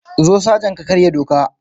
Zo sajan ka karya doka.